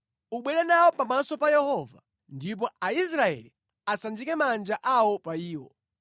Ubwere nawo pamaso pa Yehova, ndipo Aisraeli asanjike manja awo pa iwo.